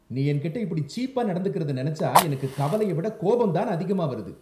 நீ என்கிட்ட இப்படி சீப்பா நடந்துக்கறத நினைச்சா எனக்குக் கவலைய விட கோபம் தான் அதிகமா வருது.